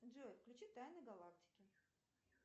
джой включи тайны галактики